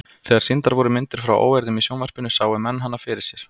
Þegar sýndar voru myndir frá óeirðum í sjónvarpinu sáu menn hana fyrir sér.